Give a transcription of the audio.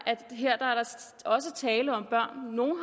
tale om børn